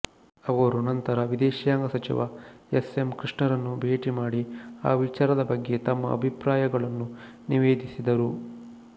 ಅವರು ನಂತರ ವಿದೇಶಾಂಗ ಸಚಿವ ಎಸ್ಎಂಕೃಷ್ಣರನ್ನು ಭೇಟಿ ಮಾಡಿ ಆ ವಿಚಾರದ ಬಗ್ಗೆ ತಮ್ಮ ಅಭಿಪ್ರಾಯಗಳನ್ನು ನಿವೇದಿಸಿದರು